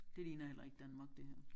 Det ligner heller ikke Danmark det her